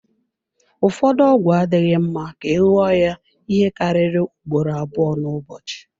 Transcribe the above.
Ụfọdụ ọgwụ adịghị mma ka ị ṅụọ ya ihe karịrị ugboro abụọ n'ụbọchị.